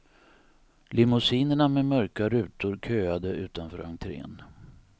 Limousinerna med mörka rutor köade utanför entren.